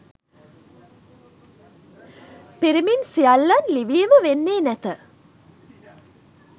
පිරිමින් සියල්ලන් ලිවීම වෙන්නේ නැත